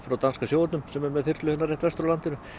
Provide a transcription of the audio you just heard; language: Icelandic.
frá danska sjóhernum sem er með þyrlu hérna rétt vestur af landinu